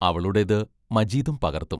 അവളുടേത് മജീദും പകർത്തും.